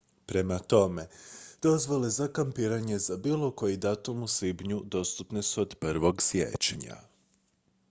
prema tome dozvole za kampiranje za bilo koji datum u svibnju dostupne su od 1. siječnja